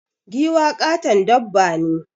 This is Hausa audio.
Giwa ƙaton dabba ne.